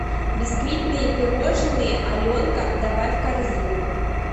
бисквитные пирожные аленка добавь в корзину